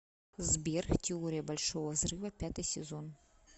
сбер теория большого взрыва пятый сезон